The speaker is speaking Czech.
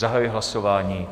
Zahajuji hlasování.